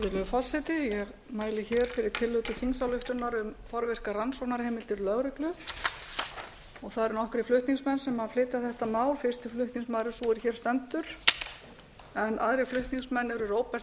fyrir tillögu til þingsályktunar um forvirkar rannsóknarheimildir lögreglu það eru nokkrir flutningsmenn sem flytja þetta mál fyrsti flutningsmaður er sú er hér stendur en aðrir flutningsmenn eru róbert